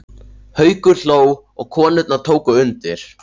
Haukur hló og konurnar tóku undir.